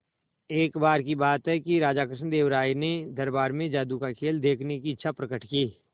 एक बार की बात है कि राजा कृष्णदेव राय ने दरबार में जादू का खेल देखने की इच्छा प्रकट की